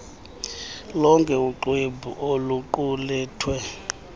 lonke uxwebhu oluqulethwe